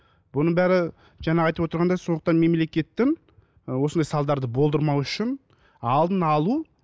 бұның бәрі жаңа айтып отырғандай сондықтан мемлекеттің ы осындай салдарды болдырмау үшін алдын алу